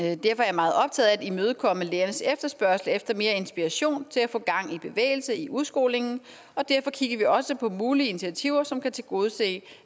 meget optaget af at imødekomme lærernes efterspørgsel efter mere inspiration til at få gang i bevægelse i udskolingen og derfor kigger vi også på mulige initiativer som kan tilgodese